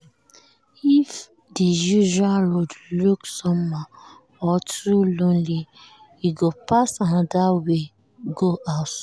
if the usual road look somehow or too lonely e go pass another way go house.